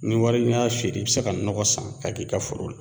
Ni wari n'i y'a feere i bi se ka nɔgɔ san k'a k'i ka foro la.